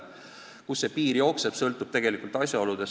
Kust see piir jookseb, sõltub tegelikest asjaoludest.